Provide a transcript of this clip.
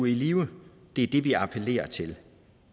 i live det er det vi appellerer til